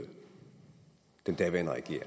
den daværende regering